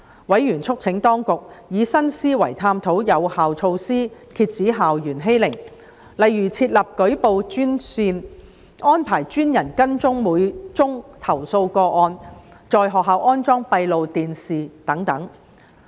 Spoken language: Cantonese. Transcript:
委員促請當局以新思維探討有效措施，遏止校園欺凌，例如設立舉報專線、安排專人跟進每宗投訴個案、在學校安裝閉路電視等。